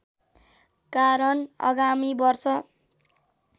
कारण आगामी वर्ष